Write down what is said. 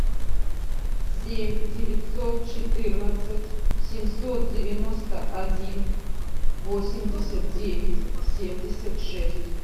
семь девятьсот четырнадцать семьсот девяносто один восемьдесят девять семьдесят шесть